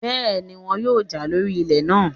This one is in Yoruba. Bẹ́ẹ̀ni, wọn yóò jà lórí ilẹ̀ náà